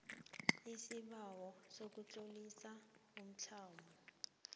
isibawo sokutlolisa umtlamo